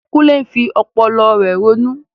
Kunle fi ọpọlọ rẹ̀ ronú.